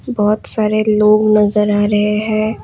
बहुत सारे लोग नजर आ रहे हैं।